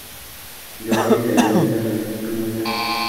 njooki teremende maimujumuja